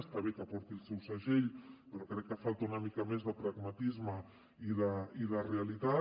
està bé que porti el seu segell però crec que hi falta una mica més de pragmatisme i de realitat